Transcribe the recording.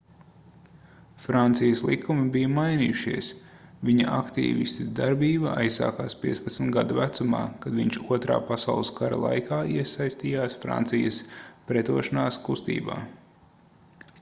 francijas likumi bija mainījušies viņa aktīvista darbība aizsākās 15 gadu vecumā kad viņš 2. pasaules kara laikā iesaistījās francijas pretošanās kustībā